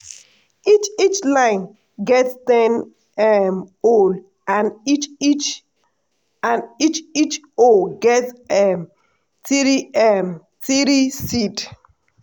each each line get ten um hole and each each and each each hole get um three um three seed.